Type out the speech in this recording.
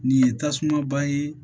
Nin ye tasuma ba ye